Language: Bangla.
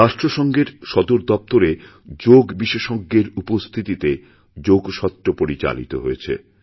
রাষ্ট্রসঙ্ঘের সদর দপ্তরে যোগ বিশেষজ্ঞেরউপস্থিতিতে যোগসত্র পরিচালিত হয়েছে